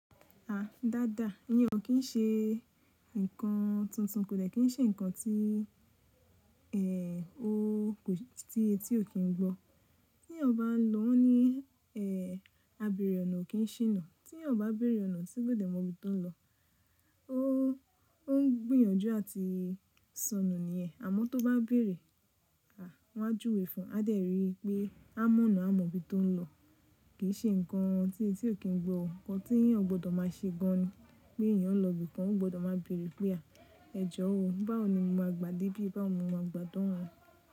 À dáadáa. Íyan kí ń ṣe nǹkan tuntun, kò lè kí ń ṣe nǹkan tí èè o tí èè tí ò kì ń gbọ́. Tí èè ó bá lọ ní èè a bẹ̀rẹ̀ ọ̀nà ò kì í ṣìnà. Tí èè ó bá bẹ̀rẹ̀ ọ̀nà tí kò mọ ibi tó ń lọ, ó ń gbìyànjú àti sọnù niẹ̀. Àmọ́ tó bá bẹ̀rẹ̀, à wá júwe fún, a dẹ̀ rí i pé a mọ̀nà a mọ ibi tó ń lọ. Kì í ṣe nǹkan tí enti o kì ń gbọ́ o. Ǹkan tí èè o gbọdọ̀ má ṣe gan ní pé èè ó ń lọ bí i kan ò gbọdọ̀ má bẹ̀rẹ̀ pé à ẹjọ́ o. Báwo ni mo máa gbà dé bí i báwo ni mo máa gbà de ohun.